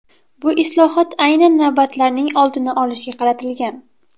Bu islohot aynan navbatlarning oldini olishga qaratilgan.